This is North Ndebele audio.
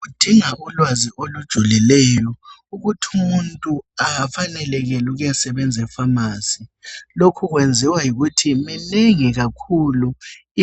Kudinga ulwazi olujulileyo ukuthi umuntu afanelekele ukuyasebenza eFamasi. Lokho kwenziwa yikuthi minengi kakhulu